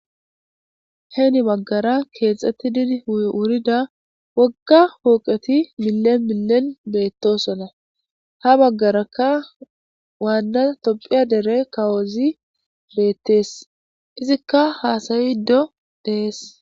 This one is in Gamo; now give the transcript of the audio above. heni baggara keexxetti wurida wogga pooqeti millen millen beettosona. ha baggarakka waanna tophiya dere kawozi beettees. izikka haasayido dees.